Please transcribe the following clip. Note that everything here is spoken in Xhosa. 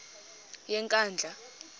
yenkandla